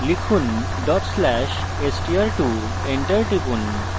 লিখুন/str2 dot slash str2 enter টিপুন